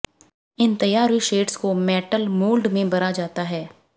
इन तैयार हुई शेड्स को मेटल मोल्ड में भरा जाता है